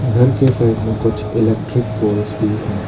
घर के साइड में कुछ इलेक्ट्रिक पोल्स भी हैं।